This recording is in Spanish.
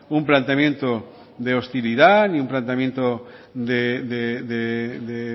un planteamiento de hostilidad ni un planteamiento de